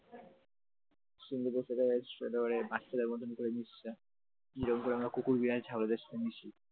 সিংহদের সাথে ধরে বাচ্চাদের মতন করে মেসছে, যেরকম করে আমরা কুকুর বিড়াল ছাগলদের সাথে মিশি ।